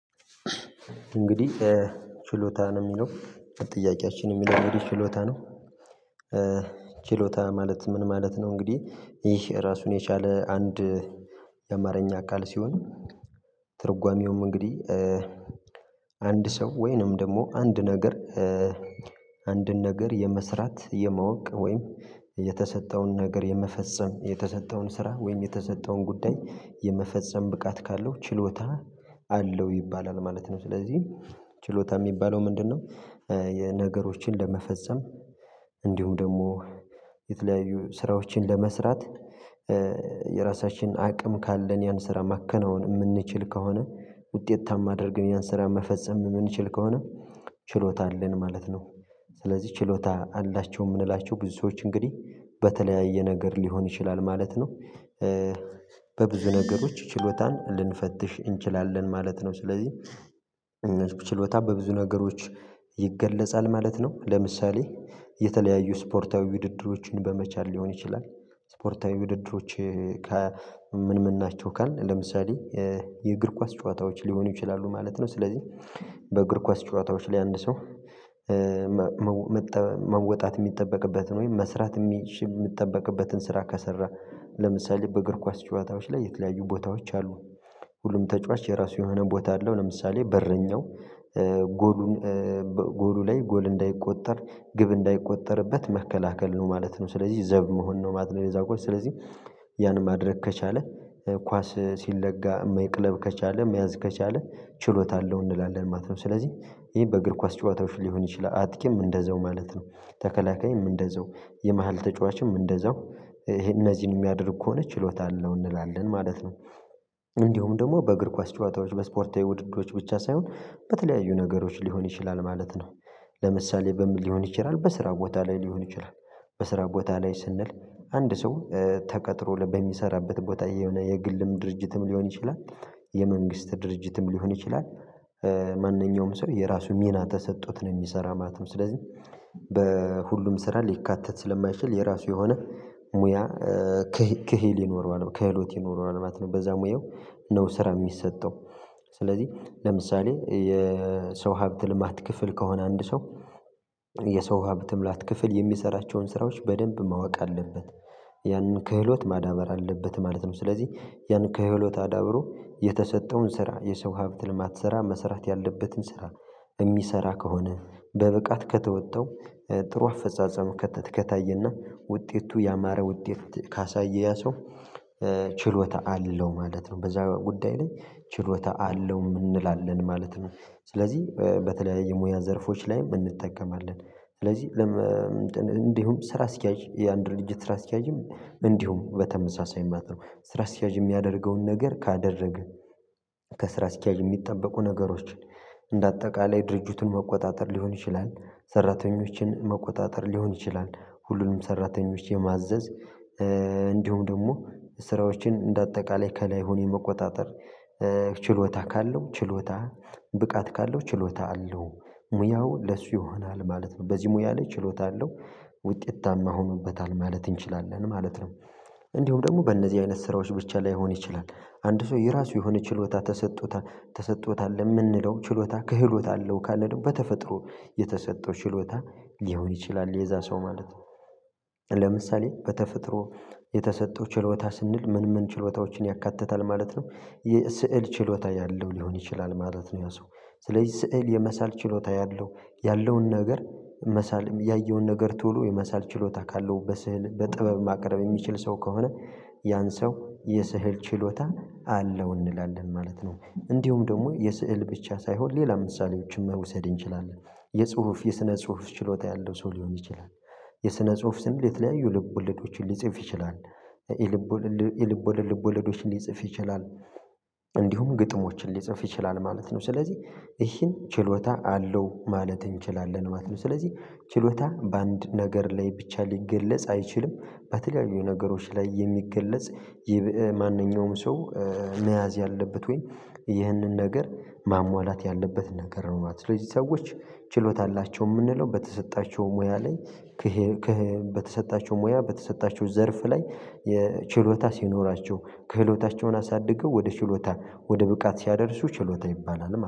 እንግዲህ ችሎታ ነው ሚለው ጥያቄያችን የሚለው እንግዲ ችሎታ ነው ችሎታ ማለት ምን ማለት ነው እንግዲህ ይህ ራሱን የቻለ አንድ የአማርኛ ቃል ሲሆን ትርጓሜውም እንግዲህ አንድ ሰው ወይንም ደሞ አንድ ነገር አንድን ነገር የመስራት የማወቅ ወይም የተሰጠውን ነገር የመፈጸም የተሰጠውን ስራ ወይም የተሰጠውን ጉዳይ የመፈጸም ብቃት ካለው ችሎታ አለው ይባላል ማለት ነው። ስለዚህ ችሎታ ሚባለው ምንድነው የነገሮችን ለመፈጸም እንዲሁም ደሞ የተለያዩ ስራዎችን ለመስራት የራሳችን አቅም ካለን ያን ስራ ማከናወን እምንችል ከሆነ ውጤታማ አድርገን ያን ስራ መፈጸም የምንችል ከሆነ ችሎታ አለን ማለት ነው። ስለዚህ ችሎታ አላቸው የምንላቸው ብዙ ሰዎች እንግዲህ በተለያየ ነገር ሊሆን ይችላል ማለት ነው በብዙ ነገሮች ችሎታን ልንፈትሽ እንችላለን ማለት ነው። ስለዚህ ችሎታ በብዙ ነገሮች ይገለጻል ማለት ነው ለምሳሌ የተለያዩ ስፖርታዊ ውድድሮችን በመቻል ሊሆን ይችላል ስፖርታዊ ውድድሮች ከ ምን ምን ናቸው ካልን ለምሳሌ የእግር ኳስ ጨዋታዎች ሊሆኑ ይችላሉ ማለት ነው። ስለዚህ በእግር ኳስ ጨዋታዎች ላይ አንድ ሰው መወጣት ሚጠበቅበትን ወይም መስራት እሚችል እሚጠበቅበትን ስራ ከሰራ ለምሳሌ በእግር ኳስ ጨዋታዎች ላይ የተለያዩ ቦታዎች አሉ ሁሉም ተጫዋች የራሱ የሆነ ቦታ አለው። ለምሳሌ በረኛው ጎሉን በጎሉ ላይ ጎል እንዳይቆጠር ግብ እንዳይቆጠርበት መከላከል ነው ማለት ነው ስለዚህ ዘብ መሆን ነው ማለት ነው የዛ ኳስ። ስለዚህ ያን ማድረግ ከቻለ ኳስ ሲለጋ መቅለብ ከቻለ መያዝ ከቻለ ችሎታ አለው እንላለን ማለት ነው። ስለዚህ ይሄ በእግር ኳስ ጨዋታዎች ሊሆን ይችላል አጥቂም እንደዛው ማለት ነው ተከላካይም እንደዛው የመሃል ተጫዋችም እንደዛው ይሄን እነዚህን እሚያደርግ ከሆነ ችሎታ አለው እንላለን ማለት ነው። እንዲሁም ደግሞ በእግር ኳስ ጨዋታዎች ለስፖርታዊ ውድድሮች ብቻ ሳይሆን በተለያዩ ነገሮች ሊሆን ይችላል ማለት ነው። ለምሳሌ በምን ሊሆን ይችላል በስራ ቦታ ላይ ሊሆን ይችላል። በስራ ቦታ ላይ ስንል አንድ ሰው ተቀጥሮ ለ በሚሰራበት ቦታ የሆነ የግልም ድርጅትም ሊሆን ይችላል የመንግስት ድርጅትም ሊሆን ይችላል ማንኛውም ሰው የራሱ ሚና ተሰጥቶት ነው የሚሰራ ማለት ነው። ስለዚህ በሁሉም ስራ ሊካተት ስለማይችል የራሱ የሆነ ሙያ ክሂ ክሂል ይኖረዋል ከህሎት ይኖረዋል ማለት ነው። በዛ ሙያው ነው ስራ የሚሰጠው። ስለዚህ ለምሳሌ የሰው ሀብት ልማት ክፍል ከሆነ አንድ ሰው የሰው ሀብት ሙላት ክፍል የሚሰራቸውን ስራዎች በደንብ ማወቅ አለበት። ያንን ክህሎት ማዳመር አለበት ማለት ነው። ስለዚህ ያንን ክህሎት አዳብሮ የተሰጠውን ስራ የሰው ሀብት ልማት ስራ መስራት ያለበትን ስራ በሚሰራ ከሆነ በብቃት ከተወጣው ጥሩ አፈጻጸም ከተ ከታየና ውጤቱ ያማረ ውጤት ካሳየ ያ ሰው ችሎታ አለው ማለት ነው። በዛ ጉዳይ ላይ ችሎታ አለውም እንላለን ማለት ነው። ስለዚህ በተለያየ ሙያ ዘርፎች ላይም እንጠቀማለን። ስለዚህ እንትን እንዲሁም ስራ አስኪያጅ የአንድ ድርጅት ስራ አስኪያጅም እንዲሁ በተመሳሳይ ማለት ነው ስራ አስኪያጅ የሚያደርገውን ነገር ካደረግህ ከስራ አስኪያጅ የሚጠበቁ ነገሮች እንደ አጠቃላይ ድርጅቱን መቆጣጠር ሊሆን ይችላል ሰራተኞችን መቆጣጠር ሊሆን ይችላል ሁሉንም ሰራተኞች የማዘዝ እንዲሁም ደግሞ ስራዎችን እንደ አጠቃላይ ከላይ ሆኖ የመቆጣጠር ችሎታ ካለው ችሎታ ብቃት ካለው ችሎታ አለው ሙያው ለሱ ይሆናል ማለት ነው። በዚህ ሙያ ላይ ችሎታ አለው ውጤታማ ሆኖበታል ማለት እንችላለን ማለት ነው። እንዲሁ ደግሞ በእነዚህ አይነት ስራዎች ብቻ ላይሆን ይችላል። አንድ ሰው የራሱ የሆነ ችሎታ ተሰጥቶታል ተሰጥቶታል እምንለው ችሎታ ክህሎት አለው ካለ ደሞ በተፈጥሮ የተሰጠው ችሎታ ሊሆን ይችላል የዛ ሰው ማለት ነው ለምሳሌ በተፈጥሮ የተሰጠው ችሎታ ስንል ምን ምን ችሎታዎችን ያካትታል ማለት ነው የስዕል ችሎታ ያለው ሊሆን ይችላል ማለት ነው ያ ሰው ስለዚህ ስዕል የመሳል ችሎታ ያለው ያለውን ነገር መሳልም ያየውን ነገር ቶሎ የመሳል ችሎታ ካለው በስዕል በጥበብ ማቅረብ የሚችል ሰው ከሆነ ያን ሰው የስህል ችሎታ አለው እንላለን ማለት ነው። እንዲሁም ደግሞ የስዕል ብቻ ሳይሆን ሌላ ምሳሌዎችን መውሰድ እንችላለን። የጽሁፍ የስነ ጽሁፍ ችሎታ ያለው ሰው ሊሆን ይችላል የስነ ጽሁፍ ስንል የተለያዩ ልብ ወለዶችን ሊጽፍ ይችላል። የልብወሌድ የልብ ወለድ ልብ ወለዶችን ሊጽፍ ይችላል እንዲሁም ግጥሞችን ሊጽፍ ይችላል ማለት ነው። ስለዚህ ይሄ ችሎታ አለው ማለት እንችላለን ማለት ነው። ስለዚህ ችሎታ በአንድ ነገር ላይ ብቻ ሊገለጽ አይችልም በተለያዩ ነገሮች ላይ የሚገለጽ ይብእ ማንኛውም ሰው መያዝ ያለበት ወይ ይህንን ነገር ማሟላት ያለበት ነገር ነው ማለት ነው ስለዚህ ሰዎች ችሎታ አላቸው እምንለው በተሰጣቸው ሙያ ላይ ክሂል ክህ በተሰጣቸው ሙያ በተሰጣቸው ዘርፍ ላይ የ ችሎታ ሲኖራቸው ከህሎታቸውን አሳድገው ወደ ችሎታ ወደ ብቃት ሲያደርሱ ችሎታ ይባላል።